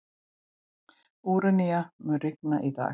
Úranía, mun rigna í dag?